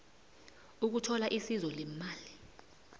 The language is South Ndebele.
ukuthola isizo leemali